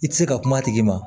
I tɛ se ka kuma a tigi ma